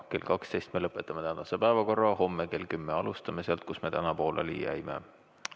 Kell 12 me lõpetame tänase päevakorra ja homme kell 10 alustame sealt, kus me täna pooleli jäime.